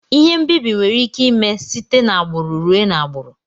Ihe mbibi nwere ike ime site na agburu ruee na agburu.